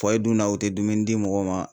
dunna ,u tɛ dumuni di mɔgɔ ma